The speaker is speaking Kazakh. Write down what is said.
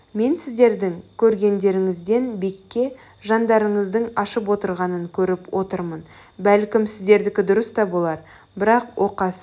мен сіздердің көздеріңізден бекке жандарыңыздың ашып отырғанын көріп отырмын бәлкім сіздердікі дұрыс та болар бірақ оқасы